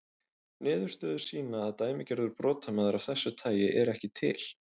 Niðurstöður sýna að dæmigerður brotamaður af þessu tagi er ekki til.